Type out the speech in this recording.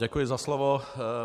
Děkuji za slovo.